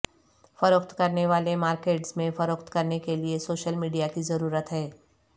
فروخت کرنے والے مارکیٹرز میں فروخت کرنے کے لئے سوشل میڈیا کی ضرورت ہے